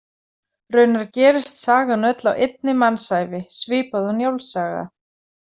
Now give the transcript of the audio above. Raunar gerist sagan öll á einni mannsævi, svipað og Njáls saga.